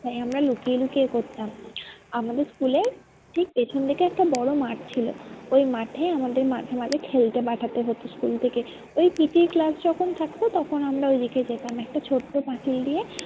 তাই আমরা লুকিয়ে লুকিয়ে করতাম আমাদের school এ ঠিক পেছন দিকে একটা বড়ো মাঠ ছিল। ওই মাঠে আমাদের মাঝে মাঝে খেলতে পাঠাতে হতো school থেকে। ওই PT class যখন থাকতো তখন আমরা ওইদিকে যেতাম একটা ছোট্ট পাঁচিল দিয়ে